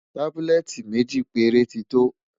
tábúlẹ́tì méjì péré tí tó